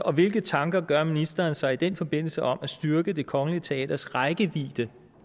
og hvilke tanker gør ministeren sig i den forbindelse om at styrke det kongelige teaters rækkevidde